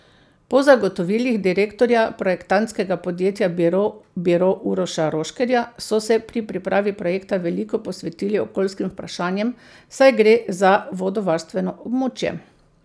Po zagotovilih direktorja projektantskega podjetja Biro Biro Uroša Roškerja so se pri pripravi projekta veliko posvetili okoljskim vprašanjem, saj gre za vodovarstveno območje.